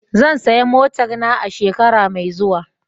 Zan saya motar na a shekara mai zuwa.